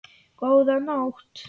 Góða nótt.